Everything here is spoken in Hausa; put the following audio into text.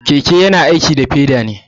Keke yana aiki da peda ne.